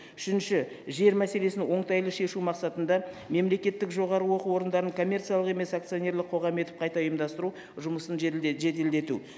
үшінші жер мәселесін оңтайлы шешу мақсатында мемлекеттік жоғары оқу орындарын коммерциялық емес акционерлік қоғам етіп қайта ұйымдастыру жұмысын жеделдету